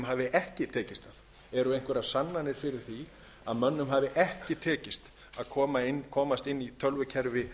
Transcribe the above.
hafi ekki tekist það eru einhverjar sannanir fyrir því að mönnum hafi ekki tekist að komast inn í tölvukerfi